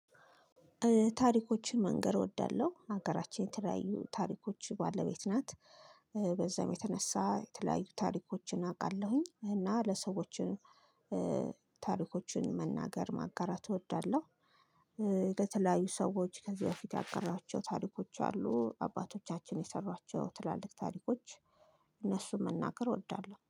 ታሪኮችን መንገር እወዳለሁ ሀገራችን የተለያዩ ታሪኮች ባለቤት ናት በዛም የተነሳ የተለያዩ ታሪኮችን አውቃለሁኝ እና ለሰዎች ታሪኮችን መናገር ማጋራት እወዳለሁ። ከተለያዩ ሰዎች ከዚህ በፊት ያጋራኋቸው ታሪኮች አሉ አባቶቻችን የሰሯቸው ትላልቅ ታሪኮች። እነሱን መናገር እወዳለሁ